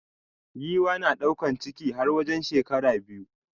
Giwa na daukan ciki har wajen shekara biyu.